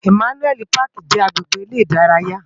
Imànúèli páki jè agbégbé èrè idàráyá